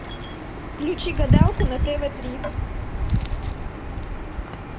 включи гадалку на тв три